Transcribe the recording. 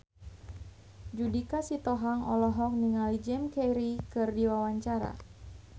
Judika Sitohang olohok ningali Jim Carey keur diwawancara